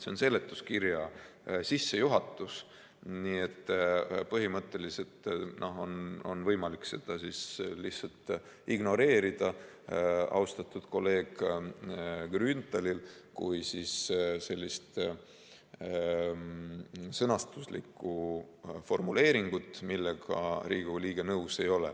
See on seletuskirja sissejuhatus, nii et põhimõtteliselt on austatud kolleeg Grünthalil võimalik seda lihtsalt ignoreerida kui sellist sõnastuslikku formuleeringut, millega Riigikogu liige nõus ei ole.